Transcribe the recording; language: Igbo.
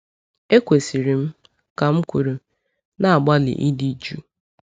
Ekwesịrị m, ka m kwuru, na-agbalị ịdị jụụ.